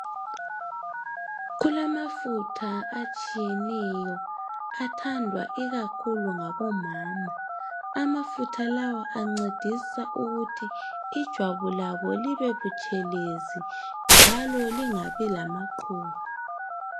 kulamafutha atshiyeneyo athandwa ikakhulu ngabo mama amafutha lawa ancedisa ukuthi ijwabu labo libebutshelezi njalo lingabi lamaqhubu